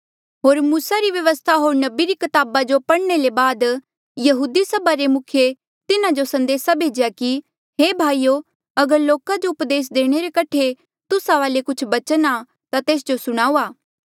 होर मूसा री व्यवस्था होर नबी री कताबा जो पढ़ने ले बाद यहूदी सभा रे मुखिये तिन्हा जो संदेसा भेज्या कि हे भाईयो अगर लोका जो उपदेस देणे रे कठे तुस्सा वाले कुछ बचन आ ता तेस जो सुणाऊआ